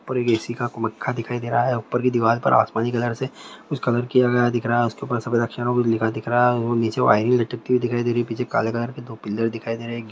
पूरी ऐसी का एक मखखा दिखाई दे रहा हैं और ऊपर के दिवार पर आसमानी कलर से कुछ कलर किया गया दिख रहा हैं उपके ऊपर सफेद अक्षरों मे लिखा हुआ दिख रहा हैं नीचे वाइरिंग लटकती दिखाई दे रही हैं पीछे काले कलर के दो पिलर दिखाई दे रहे हैं।